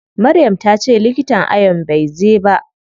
Maryam tace likitan ayon bai zai ba.